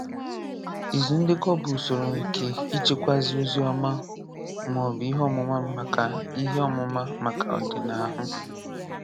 Ìzù ndèkọ̀ bụ́ usoro nke ịchèkwá ozi ma ọ bụ ihe ọ̀múmà maka ihe ọ̀múmà maka ọdị̀nàhụ́.